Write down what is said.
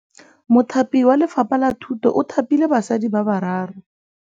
Mothapi wa Lefapha la Thutô o thapile basadi ba ba raro.